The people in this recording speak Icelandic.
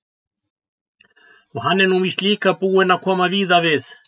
Og hann er nú víst líka búinn að koma víða við.